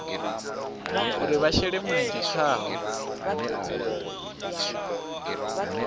uri vha shele mulenzhe khaho